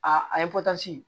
A a ye